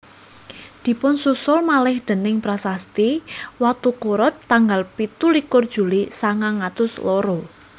Dipunsusul malih déning prasasti Watukura tanggal pitu likur Juli sangang atus loro